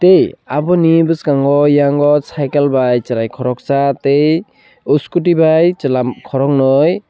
e aboni boskango eyango cycle bai serai koroksa tei scooty bai chela korongnoi.